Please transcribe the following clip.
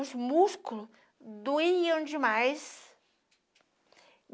Os músculos doíam demais.